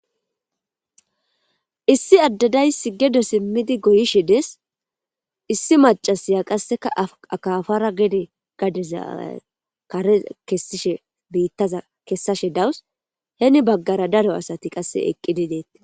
Issi adde daysi gede simidi goyishe dees. Issi mac'asiya qaseka gede biitaza akapara kesishe daws. Heni bagara daro asati qaseka eqidi de'etees.